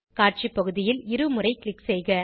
காட்சி பகுதியில் இருமுறை க்ளிக் செய்க